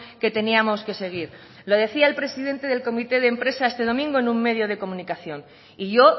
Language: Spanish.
que teníamos que seguir lo decía el presidente del comité de empresa este domingo en un medio de comunicación y yo